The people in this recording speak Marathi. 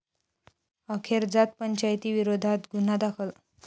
अखेर जात पंचायतीविरोधात गुन्हा दाखल